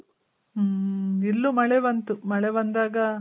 ಹ್ಮ್ ಇಲ್ಲೂ ಮಳೆ ಬಂತು. ಮಳೆ ಬಂದಾಗ